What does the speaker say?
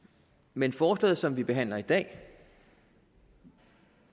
men forslaget som vi behandler i dag